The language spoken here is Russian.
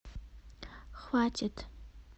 хватит